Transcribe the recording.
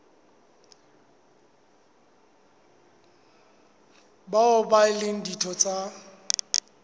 bao e leng ditho tsa